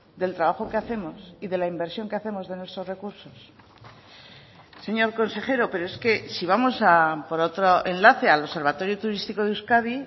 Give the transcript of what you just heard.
del trabajo que hacemos y de la inversión que hacemos de nuestros recursos señor consejero pero es que si vamos por otro enlace al observatorio turístico de euskadi